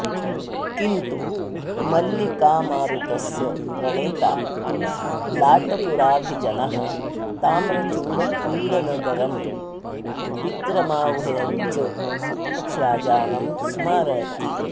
किन्तु मल्लिकामारुतस्य प्रणेता तु लाटपुराभिजनः ताम्रचूडक्रीडनगरं विक्रमाह्वयञ्च राजानं स्मरति